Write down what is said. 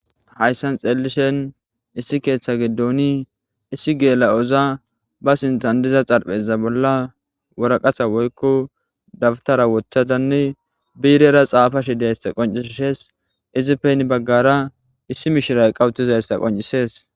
Hayssan xeellishen issi keeththa giddooni issi geela'oza ba sintandiza xarpheza bolla woraqata woykko dabtara woththadanne biirera xaafashi deysta qoncishees izipen baggara issi mishiray qawutizayssa qoncisees